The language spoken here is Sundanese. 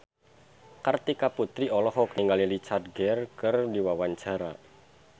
Kartika Putri olohok ningali Richard Gere keur diwawancara